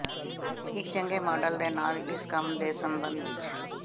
ਇੱਕ ਚੰਗੇ ਮਾਡਲ ਦੇ ਨਾਲ ਇਸ ਕੰਮ ਦੇ ਸੰਬੰਧ ਵਿਚ